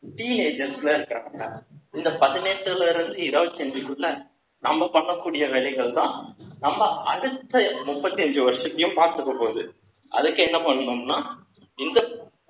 teen age ல இருக்கிறவங்க, இந்த பதினெட்டுல இருந்து, இருபத்தஞ்சுக்குள்ள, நம்ம பண்ணக்கூடிய வேலைகள்தான், நம்ம அடுத்த முப்பத்தி அஞ்சு வருஷத்தையும் பார்த்துக்கப் போகுது. அதுக்கு என்ன பண்ணணும்னா,